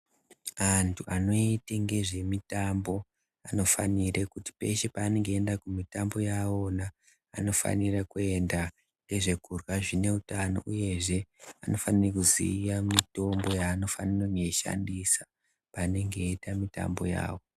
Antu anoite ngezvemitombo anofanire kuti peshe paanenge eienda kumitambo yawo wona anofanira kuenda nezvekurya zvineutano, uyezve anofanira kuziya mitombo yaanofanira kunge eishandisa paanenge eita mitambo yavo.